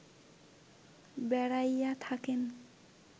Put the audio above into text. বেড়াইয়া থাকেন